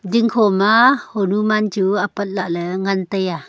dingkho ma honuman chu apat lahle ngan tai a.